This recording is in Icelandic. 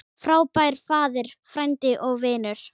Frábær faðir, frændi og vinur.